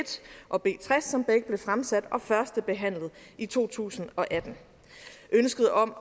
og b tres som begge blev fremsat og førstebehandlet i to tusind og atten ønsket om